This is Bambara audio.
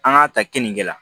An k'a ta keninge la